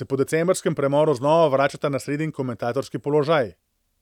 se po decembrskem premoru znova vračata na sredin komentatorski položaj.